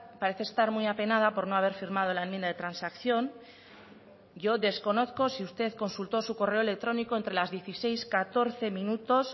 parece estar muy apenada por no haber firmado la enmienda de transacción yo desconozco si usted consultó su correo electrónico entre las dieciséis catorce minutos